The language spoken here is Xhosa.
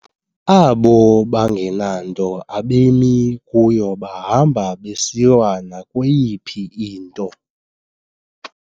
Abo bangenanto abemi kuyo bahamba besiwa nakweyiphi into!